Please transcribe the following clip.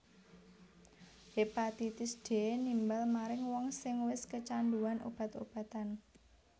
Hepatitis D nimbal maring wong sing wis kecanduan obat obatan